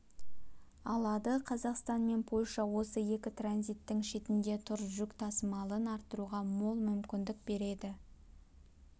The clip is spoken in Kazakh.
алады қазақстан мен польша осы екі транзиттің шетінде тұр жүк тасымалын арттыруға мол мүмкіндік береді